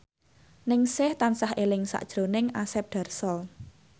Ningsih tansah eling sakjroning Asep Darso